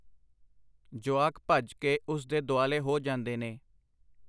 ਜੁਆਕ ਭੱਜ ਕੇ ਉਸ ਦੇ ਦੁਆਲੇ ਹੋ ਜਾਂਦੇ ਨੇ.